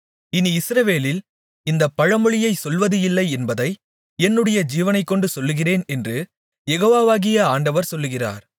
இனி இஸ்ரவேலில் இந்தப் பழமொழியைச் சொல்வது இல்லை என்பதை என்னுடைய ஜீவனைக்கொண்டு சொல்லுகிறேன் என்று யெகோவாகிய ஆண்டவர் சொல்லுகிறார்